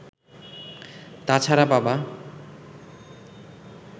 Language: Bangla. তা ছাড়া বাবা